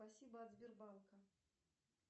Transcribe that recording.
спасибо от сбербанка